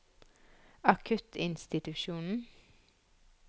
akuttinstitusjonen